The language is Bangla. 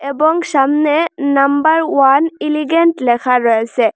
এবং সামনে নাম্বার ওয়ান এলিগেন্ট লেখা রয়েছে।